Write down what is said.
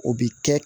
O bi kɛ